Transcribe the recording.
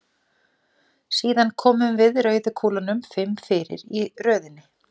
Síðan komum við rauðu kúlunum fimm fyrir í röðinni.